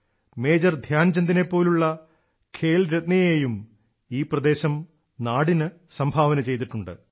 major ധ്യാൻചന്ദിനെ പോലുള്ള ഖേൽരത്നയെയും ഈ പ്രദേശം നാടിനു സംഭാവന ചെയ്തിട്ടുണ്ട്